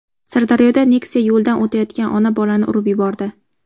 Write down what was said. Sirdaryoda Nexia yo‘ldan o‘tayotgan ona-bolani urib yubordi.